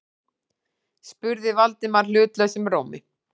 spurði Valdimar hlutlausum rómi.